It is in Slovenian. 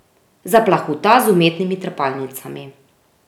Zaplahuta z umetnimi trepalnicami.